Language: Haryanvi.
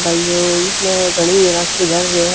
भाई यो इसमह घणी ए राखी धर रयो ह।